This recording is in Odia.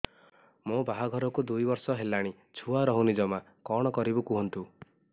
ମୋ ବାହାଘରକୁ ଦୁଇ ବର୍ଷ ହେଲାଣି ଛୁଆ ରହୁନି ଜମା କଣ କରିବୁ କୁହନ୍ତୁ